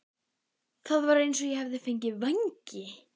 Það var eins og ég hefði fengið vængi.